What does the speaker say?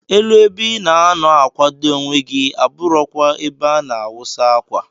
Elu ebe ina anọ akwado onwe gi aburọ kwa ebe ana awusa akwa.